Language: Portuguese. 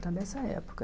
Era dessa época.